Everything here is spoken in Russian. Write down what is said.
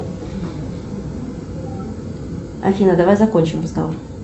афина давай закончим разговор